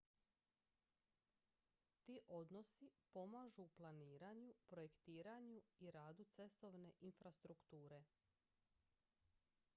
ti odnosi pomažu u planiranju projektiranju i radu cestovne infrastrukture